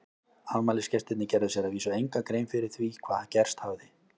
Afmælisgestirnir gerðu sér að vísu enga grein fyrir því hvað gerst hafði.